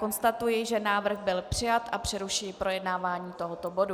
Konstatuji, že návrh byl přijat, a přerušuji projednávání tohoto bodu.